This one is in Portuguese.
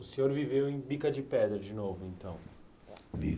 O senhor viveu em Bica de Pedra de novo, então?